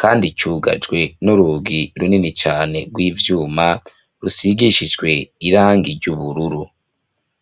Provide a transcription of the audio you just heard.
kandi cugajwe n'urugi runini cane rw'ivyuma, rusigishijwe irangi ry'ubururu.